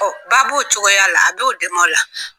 Ɔ baa b'o cogoya la, a b'o dɛmɛ o la.